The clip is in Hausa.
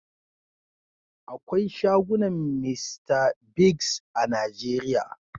Akwai shagunan Mr Biggs a Najeria.